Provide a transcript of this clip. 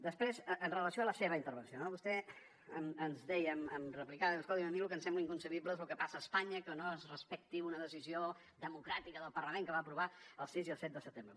després amb relació a la seva intervenció no vostè ens deia em replicava i deia escolti’m a mi lo que em sembla inconcebible és lo que passa a espanya que no es respecti una decisió democràtica del parlament que va aprovar el sis i el set de setembre